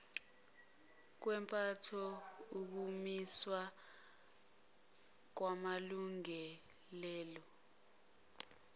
kwempatho ukumiswa kwamalungiselelo